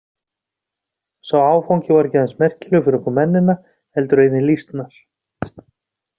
Sá áfangi var ekki aðeins merkilegur fyrir okkur mennina heldur einnig lýsnar.